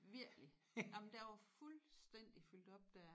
Virkelig jamen der var fuldstændig fyldt op der